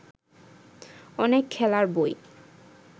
অনেক খেলার বই